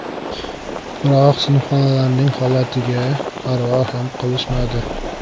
Biroq sinfxonalarning holatiga parvo ham qilishmadi.